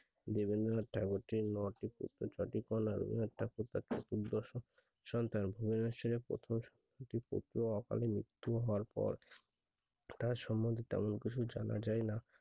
সন্তান ভূমিষ্ট হউয়ার প্রথম সপ্তাহতে অকাল মৃত্যু হওয়ার পর তার সমন্ধে তেমন কিছু জানা যাই না